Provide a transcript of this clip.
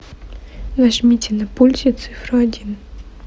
нажмите на пульте цифру один